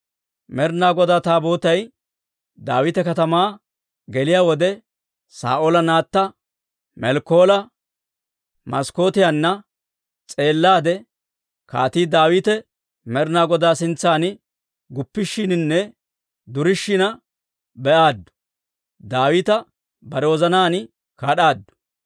Med'inaa Godaa Taabootay Daawita Katamaa geliyaa wode, Saa'oola naatta Melkkoola maskkootiyaanna S'eellaade, Kaatii Daawite Med'inaa Godaa sintsan guppishiininne durishina be'aaddu; Daawita bare wozanaan kad'aaddu.